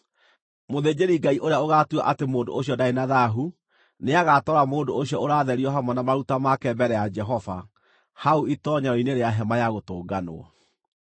Mũthĩnjĩri-Ngai ũrĩa ũgaatua atĩ mũndũ ũcio ndarĩ na thaahu nĩagatwara mũndũ ũcio ũratherio hamwe na maruta make mbere ya Jehova hau itoonyero-inĩ rĩa Hema-ya-Gũtũnganwo.